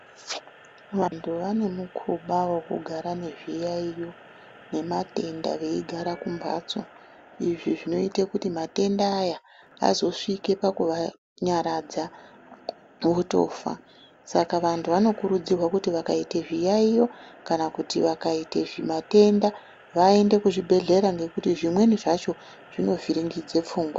Vantu vane mukhuba wekugara nezviyaiyo nematenda veigara kumbatso izvi zvinoite kuti matenda aya azosvika pakuvanyaradza votofa, saka vanhu vanokurudzirwa kuti zvakaita zviyaiyo kana kuti vakaiye matenda vaende kuzvibhehlera nge kuti zvimweni zvacho zvinovhiringidze pfungwa.